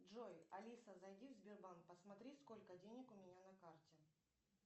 джой алиса зайди в сбербанк посмотри сколько денег у меня на карте